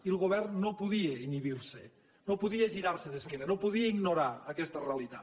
i el govern no podia inhibir se no podia girar se d’esquena no podia ignorar aquesta realitat